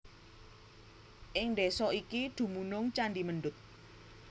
Ing desa iki dumunung candhi Mendut